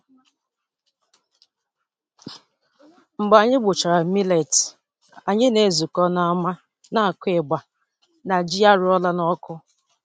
Mgbe anyị gbuchara millet, anyị na-ezukọ n'ámá na-akụ igba na ji a roara n'ọkụ.